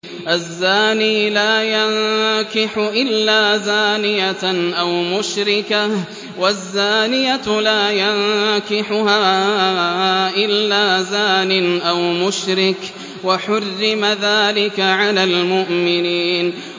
الزَّانِي لَا يَنكِحُ إِلَّا زَانِيَةً أَوْ مُشْرِكَةً وَالزَّانِيَةُ لَا يَنكِحُهَا إِلَّا زَانٍ أَوْ مُشْرِكٌ ۚ وَحُرِّمَ ذَٰلِكَ عَلَى الْمُؤْمِنِينَ